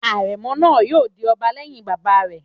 Àrẹ̀mọ náà yóò di ọba lẹ́yìn bàbá rẹ̀